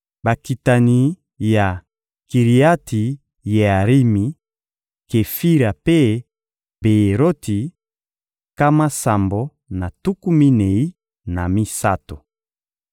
Bakitani ya Kiriati-Yearimi, Kefira mpe Beyeroti: nkama sambo na tuku minei na misato.